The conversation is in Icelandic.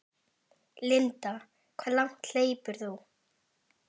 Linda: Hve langt hleypur þú?